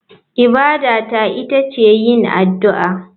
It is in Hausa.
Ibada ta ita ce yin addu'a.